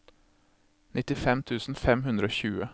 nittifem tusen fem hundre og tjue